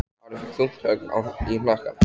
Ari fékk þungt högg í hnakkann.